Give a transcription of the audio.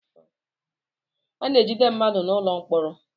A na-ejide mmadụ n'ụlọ mkpọrọ.